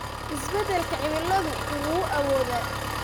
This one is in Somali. Isbeddelka cimiladu wuu awoodaa